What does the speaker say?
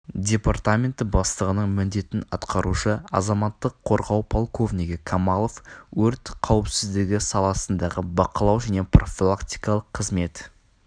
департаменті бастығының міндетін атқарушы азаматтық қорғау полковнигі камалов өрт қауіпсіздігі саласындағы бақылау және профилактикалық қызмет